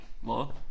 Hvor?